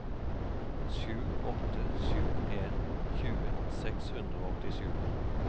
sju åtte sju en tjue seks hundre og åttisju